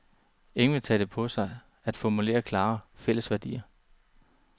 Ingen vil tage det på sig at formulere klare, fælles værdier.